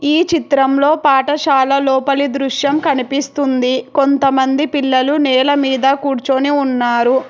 ఈ చిత్రంలో పాఠశాల లోపలి దృశ్యం కనిపిస్తుంది. కొంతమంది పిల్లలు నేలమీద కూర్చొని ఉన్నారు.